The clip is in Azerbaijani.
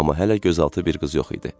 Amma hələ gözaltı bir qız yox idi.